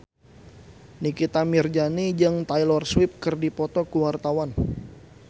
Nikita Mirzani jeung Taylor Swift keur dipoto ku wartawan